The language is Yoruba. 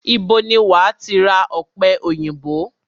Ibo ni wàá ti ra ọ̀pẹ òyìnbó?